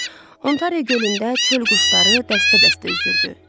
Ontari gölündə çöl quşları dəstə-dəstə üzürdü.